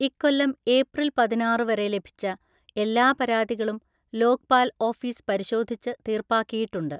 ഇക്കൊല്ലം ഏപ്രില്‍ പതിനാറു വരെ ലഭിച്ച എല്ലാ പരാതികളും ലോക്പാല്‍ ഓഫീസ് പരിശോധിച്ച് തീര്‍പ്പാക്കിയിട്ടുണ്ട്.